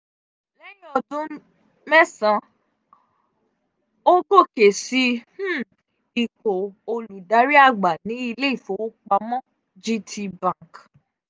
lẹ́yìn ọdún mẹ́sàn-án ó gòkè sí um ipò um olùdarí àgbà ní ilé ìfowópamọ́( gtbank ).